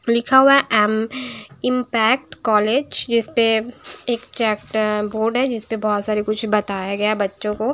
लिखा हुआ है एम इम्पेक्ट कॉलेज जिस पे एक चेप्टर बोर्ड है जिस पे है बहुत सारा कुछ बताया गया है बच्चों को--